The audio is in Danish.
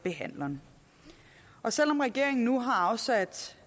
behandleren og selv om regeringen nu har afsat